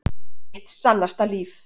Mitt sannasta líf.